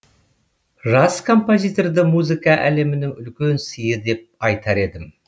жас композиторды музыка әлемінің үлкен сыйы деп айтар едім